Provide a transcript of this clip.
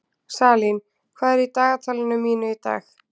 Salín, hvað er í dagatalinu mínu í dag?